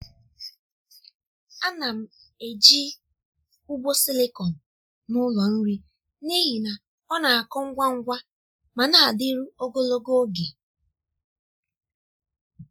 a na m eji ugbo silịkọn n’ụlọ nri n’ihi na ọ na-akọ ngwa ngwa ma na-adịru ogologo oge.